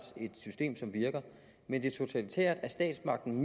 system som virker men det er totalitært at statsmagten